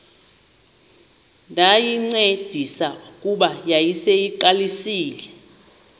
ndayincedisa kuba yayiseyiqalisile